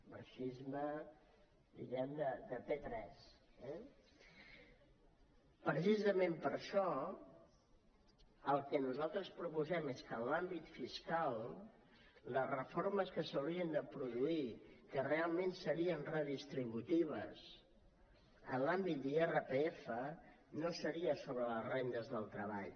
marxisme de p3 eh precisament per això el que nosaltres proposem és que en l’àmbit fiscal les reformes que s’haurien de produir que realment serien redistributives en l’àmbit d’irpf no seria sobre les rendes del treball